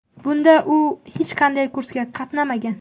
Bunda u hech qanday kursga qatnamagan.